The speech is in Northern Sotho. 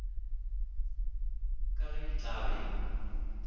ka ge di tla be